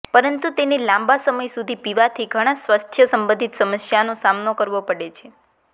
પરંતુ તેને લાંબા સમય સુધી પીવાથી ઘણા સ્વાસ્થ્ય સંબંધી સમસ્યાઓનો સામનો કરવો પડે છે